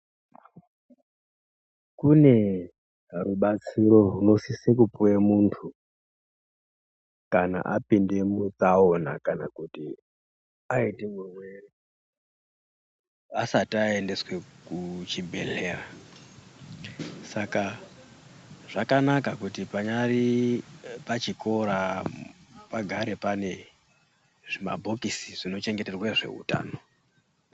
Kune rubatsiro runosise kupuwe munthu kana apinde mutsaona kana kuti aite murwere asati aendeswe kuchibhedhlera. Saka ,zvakanaka kuti panyari pachikora pagare pane zvimabhokisi zvinochengeterwa zveutano.